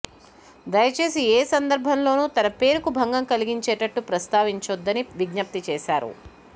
దయ చేసి ఏ సందర్భంలోనూ తన పేరుకు భంగం కలిగించేటట్టు ప్రస్తావించొద్దని విజ్ఞప్తి చేశారు